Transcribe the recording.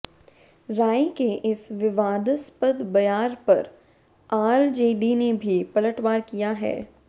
राय के इस विवादास्पद बयार पर आरजेडी ने भी पलटवार किया है